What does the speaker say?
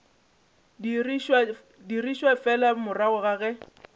dirišwa fela morago ga ge